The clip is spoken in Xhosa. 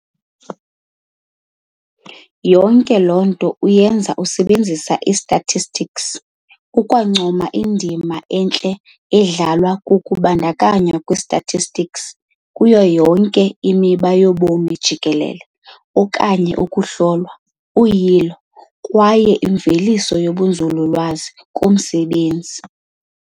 Yonke loo nto uyenza usebenzisa i-statistics, ukwancoma indima entle edlalwa kukubandakanywa kwe-statistics kuyo yonke imiba yobomi jikelele okanye ukuhlolwa, uyilo, kwaye imveliso zobunzululwazi umsebenzi.